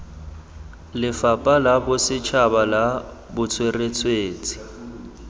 lefapha la bosetšhaba la botsweretshi